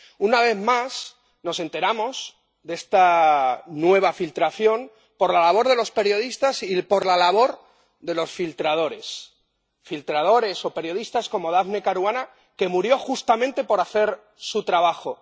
Una vez más nos enteramos de esta nueva filtración por la labor de los periodistas y por la labor de los filtradores. Filtradores o periodistas como Daphne Caruana, que murió justamente por hacer su trabajo.